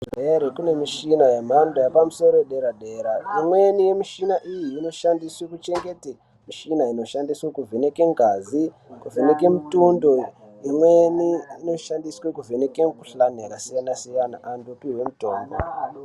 Maizviziva here kuti kune mishina yemhando yepamusoro yedera dera imweni yemushina iyi inoshandiswa kuchengeta mishina inovheneka ngazi kuvheneka mutundo imwnei inoshandiswa kuvheneka ngazi rakasiyana siyana antu opiwe mutombo.